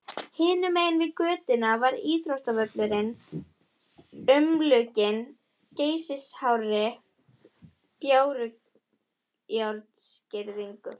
Hinum megin við götuna var íþróttavöllurinn, umlukinn geysihárri bárujárnsgirðingu.